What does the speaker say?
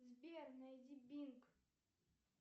сбер найди бинг